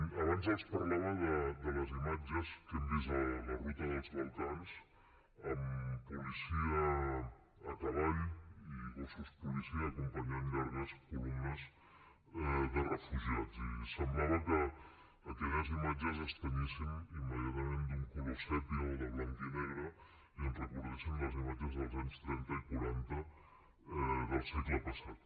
abans els parlava de les imatges que hem vist a la ruta dels balcans amb policia a cavall i gossos policia acompanyant llargues columnes de refugiats i semblava que aquelles imatges es tenyissin immediatament d’un color sèpia o de blanc i negre ens recordaven les imatges dels anys trenta i quaranta del segle passat